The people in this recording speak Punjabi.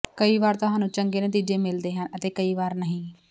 ਕਈ ਵਾਰ ਤੁਹਾਨੂੰ ਚੰਗੇ ਨਤੀਜੇ ਮਿਲਦੇ ਹਨ ਅਤੇ ਕਈ ਵਾਰ ਨਹੀਂ